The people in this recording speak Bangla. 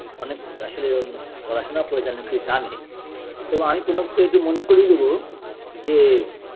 অনেক আসলে ম পড়াশোনা করেছেন অনেক কিছু জানে তো আমি প্রনবকে একটু মনে করিয়ে দেব যে